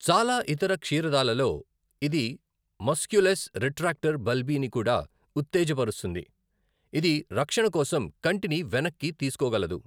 చాలా ఇతర క్షీరదాలలో, ఇది మస్క్యులస్ రిట్రాక్టర్ బల్బీని కూడా ఉత్తేజకపరుస్తుంది, ఇది రక్షణ కోసం కంటిని వెనక్కి తీసుకోగలదు.